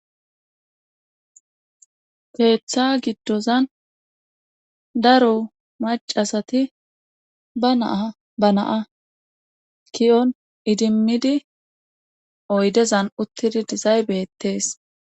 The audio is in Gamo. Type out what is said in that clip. Keetha giddozan daro maccasati ba na7a ba na7a ki7on idimmidi oydezan uttidi dizay beettees.